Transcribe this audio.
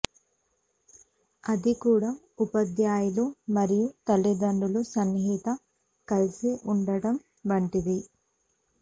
అది కూడా ఉపాధ్యాయులు మరియు తల్లిదండ్రులు సన్నిహిత కలిసి ఉండడం వంటివి